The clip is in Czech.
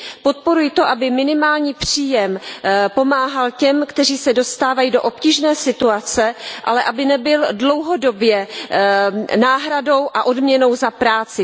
Podporuji to, aby minimální příjem pomáhal těm, kteří se dostávají do obtížné situace, ale aby nebyl dlouhodobě náhradou a odměnou za práci.